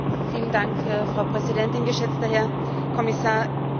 Frau Präsidentin, geschätzter Herr Kommissar Oettinger!